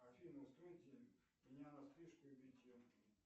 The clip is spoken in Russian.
афина настройте меня на стрижку и бритье